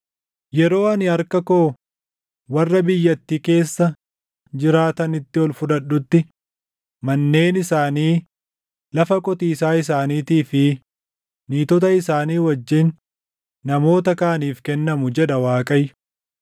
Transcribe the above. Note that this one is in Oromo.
Yeroo ani harka koo warra biyyattii keessa jiraatanitti ol fudhadhutti manneen isaanii, lafa qotiisaa isaaniitii fi niitota isaanii wajjin namoota kaaniif kennamu” jedha Waaqayyo.